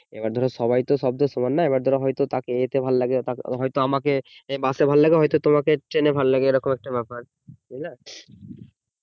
এবার ধরো সবাই তো সব তো সমান নয় এবার ধরো হয়তো তাকে ইয়েতে ভালো লাগে হয়তো আমাকে বাস ভালো লাগে হয়তো তোমাকে ট্রেনে ভালো লাগে এরকম একটা ব্যাপার বুঝলা